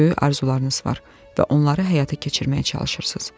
Böyük arzularınız var və onları həyata keçirməyə çalışırsınız.